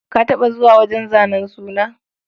Ka taɓa zuwa wajen zanen suna?